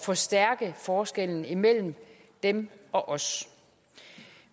forstærke forskellen imellem dem og os